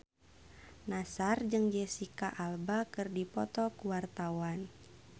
Nassar jeung Jesicca Alba keur dipoto ku wartawan